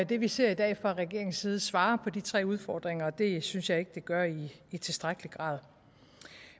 det vi ser i dag fra regeringens side svarer på de tre udfordringer og det synes jeg ikke det gør i tilstrækkelig grad